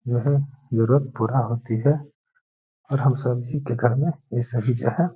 यह जरुरत पूरा होती है और हम सभी के घर में ये सभी जो है --